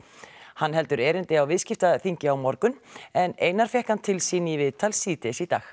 hann heldur erindi á viðskiptaþingi á morgun en Einar fékk hann til sín í viðtal síðdegis í dag